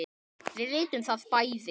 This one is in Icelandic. Við vitum það bæði.